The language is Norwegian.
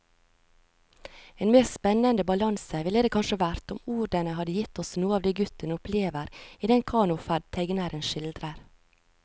En mer spennende balanse ville det kanskje vært om ordene hadde gitt oss noe av det gutten opplever i den kanoferd tegneren skildrer.